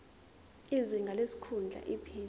izinga lesikhundla iphini